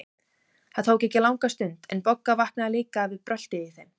Það tók ekki langa stund, en Bogga vaknaði líka við bröltið í þeim.